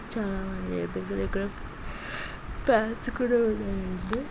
చాలా మంది ఇక్కడ ఫాన్స్ కూడా ఉన్నారు.